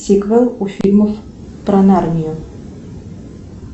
сиквел у фильмов про нарнию